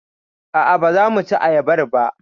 A'a baza muci ayabar ba.